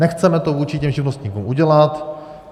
Nechceme to vůči těm živnostníkům udělat.